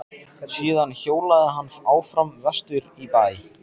Síðan hjólaði hann áfram vestur í bæ.